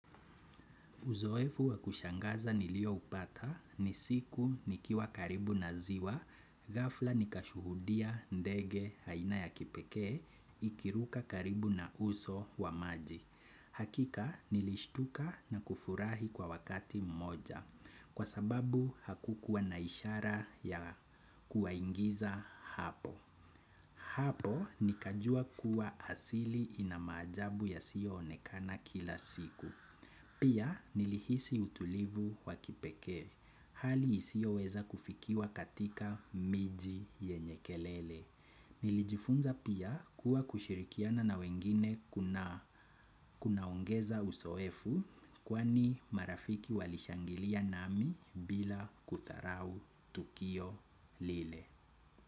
Uzoefu wakushangaza nilioupata ni siku nikiwa karibu na ziwa, ghafla nikashuhudia ndege aina ya kipekee, ikiruka karibu na uso wa maji. Hakika nilishtuka na kufurahi kwa wakati mmoja kwa sababu hakukuwa na ishara ya kuwaingiza hapo. Hapo nikajua kuwa asili ina maajabu yasiyoonekana kila siku. Pia nilihisi utulivu wakipekee. Hali isiyoweza kufikiwa katika miji yenye kelele. Nilijifunza pia kuwa kushirikiana na wengine kunaongeza uzoefu kwani marafiki walishangilia nami bila kudharau tukio lile.